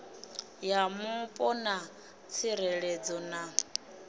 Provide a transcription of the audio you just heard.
ya mupo na tsireledzo na